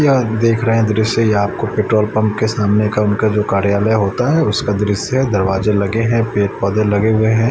यह हम देख रहे हैं दृश्य ये आपको पेट्रोल पंप के सामने का उनका जो कार्यालय होता है उसका दृश्य दरवाजे लगे हैं पेड़ पौधे लगे हुए हैं।